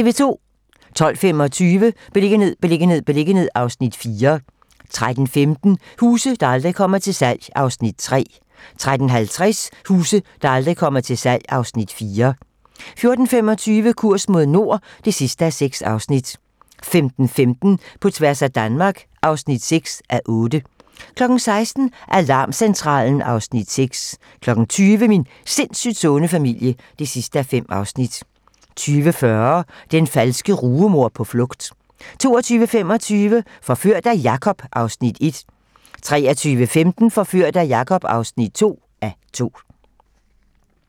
12:25: Beliggenhed, beliggenhed, beliggenhed (Afs. 4) 13:15: Huse, der aldrig kommer til salg (Afs. 3) 13:50: Huse, der aldrig kommer til salg (Afs. 4) 14:25: Kurs mod nord (6:6) 15:15: På tværs af Danmark (6:8) 16:00: Alarmcentralen (Afs. 6) 20:00: Min sindssygt sunde familie (5:5) 20:40: Den falske rugemor på flugt 22:25: Forført af Jakob (1:2) 23:15: Forført af Jakob (2:2)